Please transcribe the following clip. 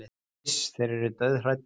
Iss, þeir eru dauðhræddir